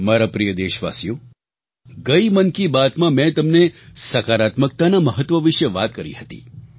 મારા પ્રિય દેશવાસીઓ ગઈ મન કી બાતમાં મેં તમને સકારાત્મકતાના મહત્વ વિશે વાત કરી હતી